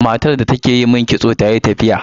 Matar da take yi min kitso tayi tafiya.